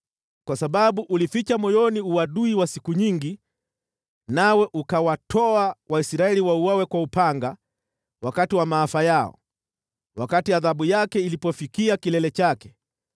“ ‘Kwa sababu ulificha moyoni uadui wa siku nyingi nawe ukawatoa Waisraeli wauawe kwa upanga wakati wa maafa yao, wakati adhabu yake ilipofikia kilele chake,